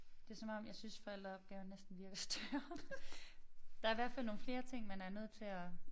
Det som om jeg synes forælderopgaven næsten virker større. Der er i hvert fald nogle flere ting man er nødt til at